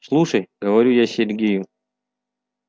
слушай говорю я сергею